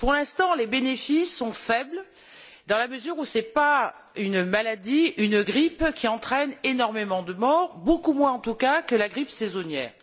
Pour l'instant, les bénéfices sont faibles, dans la mesure où ce n'est pas une grippe qui entraîne énormément de morts beaucoup moins en tout cas que la grippe saisonnière.